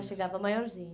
Já chegava maiorzinha.